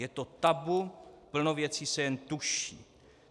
Je to tabu, plno věcí se jen tuší.